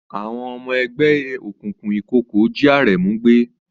Àwọn ọmọ ẹgbẹ́ òkùnkùn ìkọ̀kọ̀ jí Aremu gbé.